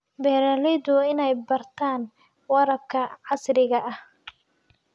Beeraleydu waa inay bartaan waraabka casriga ah.